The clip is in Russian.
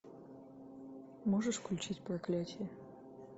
можешь включить проклятие